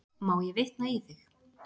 Má ég vitna í þig?